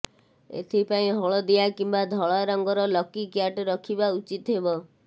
ଏଥିପାଇଁ ହଳଦିଆ କିମ୍ୱା ଧଳା ରଙ୍ଗର ଲକି କ୍ୟାଟ୍ ରଖିବା ଉଚିତ୍ ହେବ